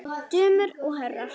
Dömur og herrar!